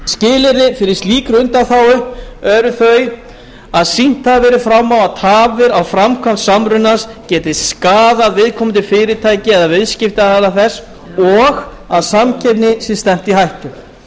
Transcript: skilyrði fyrir slíkri undanþágu eru þau að sýnt hafi verið fram á að tafir á framkvæmd samrunans geti skaðað viðkomandi fyrirtæki eða viðskiptaaðila þess og að samkeppni sé stefnt í hættu